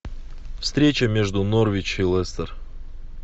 встреча между норвич и лестер